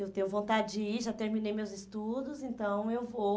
Eu tenho vontade de ir, já terminei meus estudos, então eu vou.